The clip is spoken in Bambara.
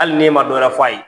Hali n'e ma dɔwɛrɛ f'a ye